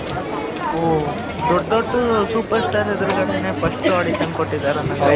ಓದೊಡ್ಡ ದೊಡ್ಡ super star ಎದುರುಗಡೆನೇ first audition ಕೊಟ್ಟಿದ್ದಾರೆ ಅನ್ನಂಗೆ ಆಯ್ತು